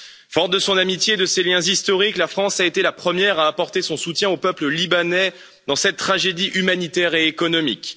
Forte de son amitié et de ses liens historiques, la France a été la première à apporter son soutien au peuple libanais dans cette tragédie humanitaire et économique.